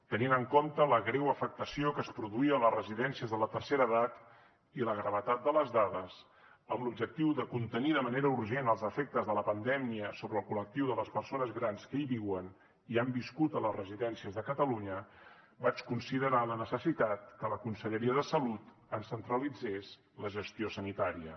tenint en compte la greu afectació que es produïa a les residències de la tercera edat i la gravetat de les dades amb l’objectiu de contenir de manera urgent els efectes de la pandèmia sobre el col·lectiu de les persones grans que hi viuen i hi han viscut a les residències de catalunya vaig considerar la necessitat que la conselleria de salut ens centralitzés la gestió sanitària